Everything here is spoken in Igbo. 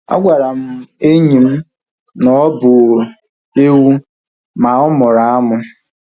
A gwara m enyi m na ọ bụ ewu ma ọ mụrụ amụ